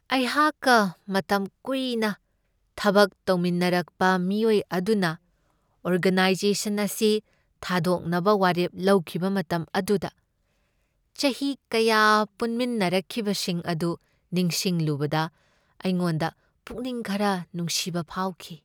ꯑꯩꯍꯥꯛꯀ ꯃꯇꯝ ꯀꯨꯏꯅ ꯊꯕꯛ ꯇꯧꯃꯤꯟꯅꯔꯛꯄ ꯃꯤꯑꯣꯏ ꯑꯗꯨꯅ ꯑꯣꯔꯒꯅꯥꯏꯖꯦꯁꯟ ꯑꯁꯤ ꯊꯥꯗꯣꯛꯅꯕ ꯋꯥꯔꯦꯞ ꯂꯧꯈꯤꯕ ꯃꯇꯝ ꯑꯗꯨꯗ ꯆꯍꯤ ꯀꯌꯥ ꯄꯨꯟꯃꯤꯟꯅꯔꯛꯈꯤꯕꯁꯤꯡ ꯑꯗꯨ ꯅꯤꯡꯁꯤꯡꯂꯨꯕꯗ ꯑꯩꯉꯣꯟꯗ ꯄꯨꯛꯅꯤꯡ ꯈꯔ ꯅꯨꯡꯁꯤꯕ ꯐꯥꯎꯈꯤ ꯫